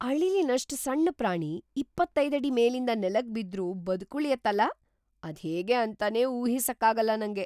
ಅಳಿಲಿನಷ್ಟ್ ಸಣ್ಣ ಪ್ರಾಣಿ ಇಪ್ಪತೈದು ಅಡಿ‌ ಮೇಲಿಂದ ನೆಲಕ್ ಬಿದ್ರೂ ಬದ್ಕುಳಿಯತ್ತಲ, ಅದ್ಹೇಗೆ ಅಂತನೇ ಊಹಿಸಕ್ಕಾಗಲ್ಲ ನಂಗೆ!